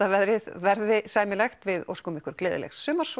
að veðrið verði sæmilegt við óskum ykkur gleðilegs sumars